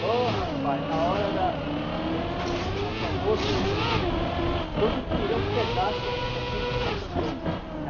Pô, rapaz, na hora da da gente do nosso almoço, todos queriam um pedaço, um pouquinho de Santo Antônio.